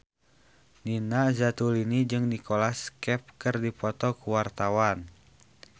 Nina Zatulini jeung Nicholas Cafe keur dipoto ku wartawan